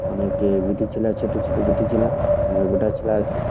অনেকে বিটিছেলা ছোটছেলে বিটিছেলা মোগডাছেলা আছে।